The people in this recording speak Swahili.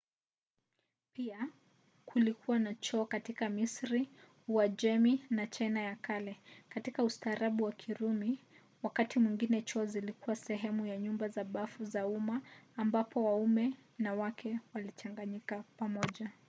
pia kulikuwa na choo katika misri uajemi na china ya kale. katika ustaarabu wa kirumi wakati mwingine choo zilikuwa sehemu ya nyumba za bafu za umma ambapo waume na wake walichanganyika pamoja